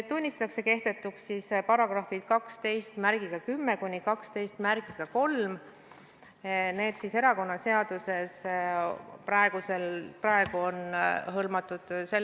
Tunnistatakse kehtetuks paragrahvid 1210–1213.